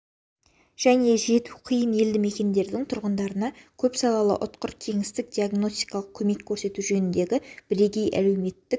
және жету қиын елді мекендерінің тұрғындарына көпсалалы ұтқыр кеңестік диагностикалық көмек көрсету жөніндегі бірегей әлеуметтік